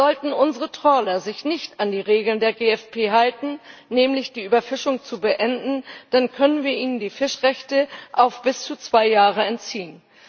Sollten unsere Trawler sich nicht an die Regeln der GFP halten, nämlich die Überfischung zu beenden, dann können wir ihnen die Fischrechte auf bis zu zwei Jahre entziehen.